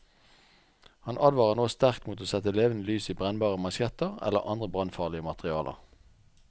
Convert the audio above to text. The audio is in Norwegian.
Han advarer nå sterkt mot å sette levende lys i brennbare mansjetter eller andre brannfarlige materialer.